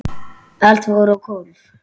Allt fór á hvolf.